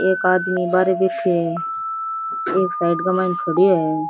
एक आदमी बाहरे बैठयो है एक साइड के मायने खड़यो है।